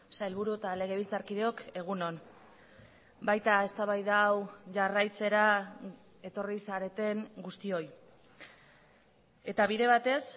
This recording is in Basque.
sailburu eta legebiltzarkideok egun on baita eztabaida hau jarraitzera etorri zareten guztioi eta bide batez